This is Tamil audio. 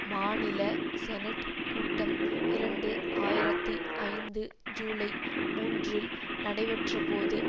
மாநில செனட் கூட்டம் இரண்டு ஆயிரத்தி ஐந்து ஜூலை மூன்றில் நடைபெற்றபோது